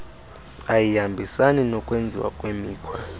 ayihambisani nokwenziwa kwemikhwa